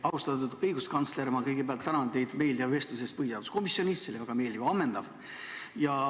Austatud õiguskantsler, ma kõigepealt tänan teid meeldiva vestluse eest põhiseaduskomisjonis, see oli väga meeldiv ja ammendav.